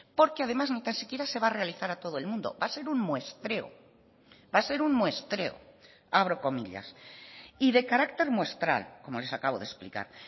porque además ni tan siquiera se va a realizar a todo el mundo va a ser un muestreo va a ser un muestreo abro comillas y de carácter muestral como les acabo de explicar